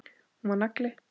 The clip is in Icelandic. Hún var nagli.